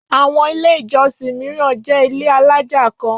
Àwọn Ilé-ìjọsìn mìíràn jẹ́ ilé alájà kan.